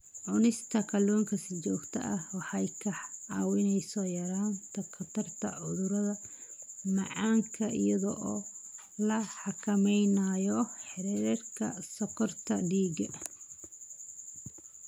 Cunista kalluunka si joogto ah waxay kaa caawinaysaa yaraynta khatarta cudurka macaanka iyadoo la xakameynayo heerarka sonkorta dhiigga.